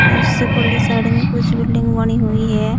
और उससे पहले साइड में कुछ बिल्डिंग बनी हुई है।